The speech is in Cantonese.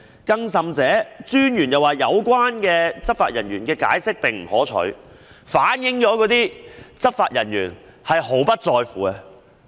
更甚的是，專員指有關執法人員的解釋並不可取，反映執法人員"毫不在乎"。